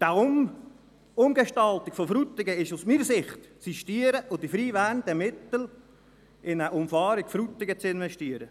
Die Umgestaltung von Frutigen ist aus meiner Sicht zu sistieren, und die freiwerdenden Mittel sind in eine Umfahrung von Frutigen zu investieren.